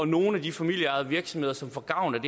nogle af de familieejede virksomheder som får gavn